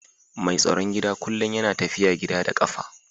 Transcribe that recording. Mai tsaron gida kullum yana tafiya gida da kafa